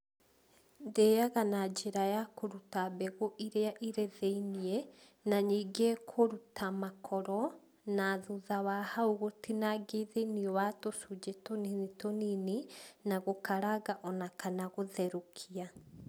Ndĩaga na njĩra ya kūruta mbegu iria irĩ thĩinĩ na nĩngĩ kūruta makoro na thutha wa hau gūtinangia thĩinĩ wa tūcunjĩ tūnini tūnini na gūkaranga ona kana gūtherūkia.